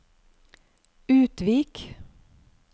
Utvik